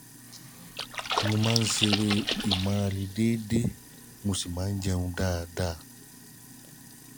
mo máa ń ṣeré ìmárale déédéé mo sì ma ń jẹun dáadáa